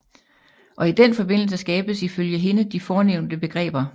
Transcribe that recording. Og i den forbindelse skabes ifølge hende de fornævnte begreber